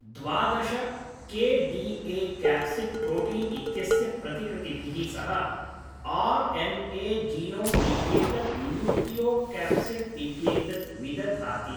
द्वादश K D A. Capsid protein इत्यस्य प्रतिकृतिभिः सह आर्.एन्.ए. जीनोम् इत्येतत् न्यूक्लियोक्याप्सिड् इत्येतत् विदधाति।